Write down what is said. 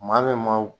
Maa min ma